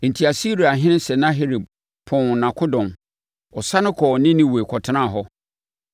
Enti Asiriahene Sanaherib pɔnn nʼakodɔm. Ɔsane kɔɔ Ninewe kɔtenaa hɔ.